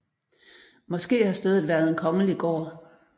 Måske har stedet været en kongelig gård